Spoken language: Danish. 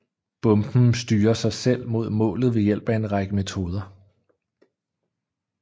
Bomben styrer sig selv mod målet ved hjælp af en række metoder